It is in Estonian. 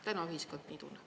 Täna ühiskond nii tunneb.